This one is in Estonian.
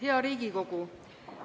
Hea Riigikogu!